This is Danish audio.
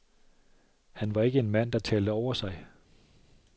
Han var ikke en mand, der talte over sig.